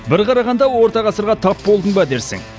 бір қарағанда орта ғасырға тап болдың ба дерсің